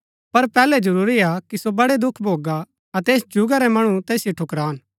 पर पैहलै जरूरी हा कि सो बड़ै दुख भोगा अतै ऐस जुगा रै मणु तैसिओ ठुकरान